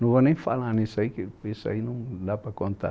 Não vou nem falar nisso aí, porque isso aí não dá para contar.